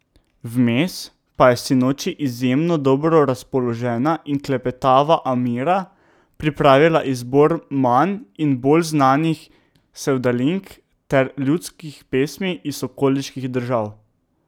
Vmes pa je sinoči izjemno dobro razpoložena in klepetava Amira pripravila izbor manj in bolj znanih sevdalink ter ljudskih pesmi iz okoliških držav.